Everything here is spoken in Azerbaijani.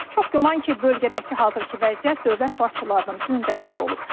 Çox güman ki, bölgədəki hazırki vəziyyət dövlət başçılarının gündəmində olub.